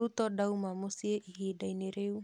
Ruto ndauma mũciĩ ihinda-inĩ rĩu.